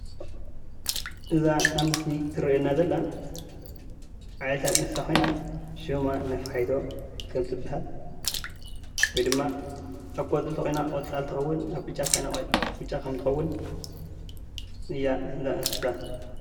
እዛ ኣብ ምስሊ እትረአየና ዘላ ዓይነታት እንስሳ ኾይና ሸማ ነፋሒቶ ትበሃል። ወይ ድማ ኣብ ቆፅሊ እንተኾይና ቆፃል ትኸውን ኣብ ብጫ እንተኾይና በጫ ከም እትኸውን እያ እዛ እንስሳ።